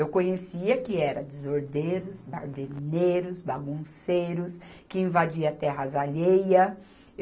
Eu conhecia que era desordeiros, barderneiros, bagunceiros, que invadia terras alheia.